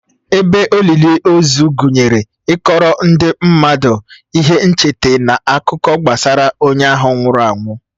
Ebe olili ozu gụnyere ịkọọrọ ndị mmadụ ihe ncheta na akụkọ gbasara onye ahụ nwụrụ anwụ.